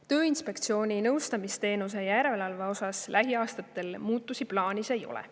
Tööinspektsiooni nõustamisteenuse järelevalve osas lähiaastatel muudatusi plaanis ei ole.